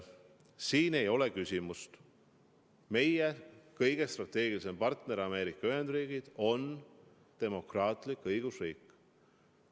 Siin ei ole küsimust: meie kõige strateegilisem partner Ameerika Ühendriigid on demokraatlik õigusriik.